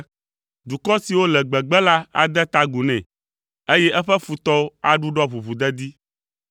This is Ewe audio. Dukɔ siwo le gbegbe la ade ta agu nɛ, eye eƒe futɔwo aɖuɖɔ ʋuʋudedi.